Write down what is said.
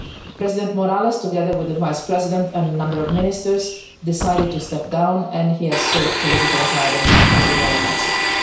President Morales, together with the Vice President and a number of ministers, decided to step down and he has sought political asylum, as you know, in Mexico.